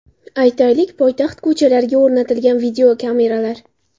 Aytaylik, poytaxt ko‘chalariga o‘rnatilgan videokameralar.